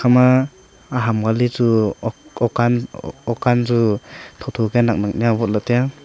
ama aham ngale chu okanjhu tho tho kia nak nak nia awot le taya.